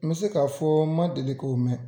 N bɛ se k'a fɔ n ma deli k'o mɛn.